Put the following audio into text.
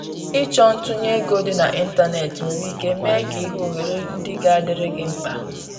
Ịchọ ntunye ego dị na ịntanetị nwere ike mee ka i hụ ohere ndị ga adịrị gi mkpa.